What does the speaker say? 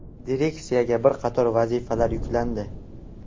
Direksiyaga bir qator vazifalar yuklandi.